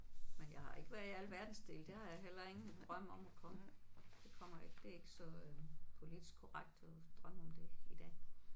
Men jeg har ikke været i alle verdensdele det har jeg heller ingen drøm om at komme. Det kommer jeg ikke det er ikke så politisk korrekt at drømme om det i dag